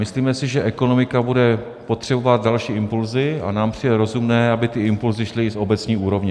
Myslíme si, že ekonomika bude potřebovat další impulsy, a nám přijde rozumné, aby ty impulsy šly z obecní úrovně.